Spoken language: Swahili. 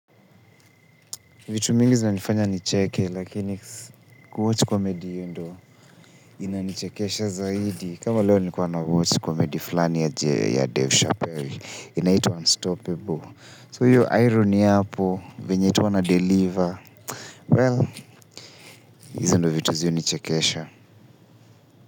Vitu mingi zinanifanya nicheke lakini kuwatch komedi hiyo ndo inanichekesha zaidi kama leo nilikuwa nawatch komedi fulani ya Dave Chappell inaitwa Unstopable So hiyo irony hapo venye tu anadeliver well hizo ndo vitu zi hunichekesha.